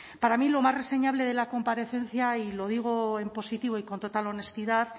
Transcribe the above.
para mí lo más reseñable de la comparecencia y lo digo en positivo y con total honestidad